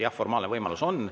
Jah, formaalne võimalus on.